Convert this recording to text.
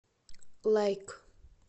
лайк